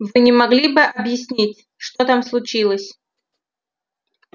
вы не могли бы объяснить что там случилось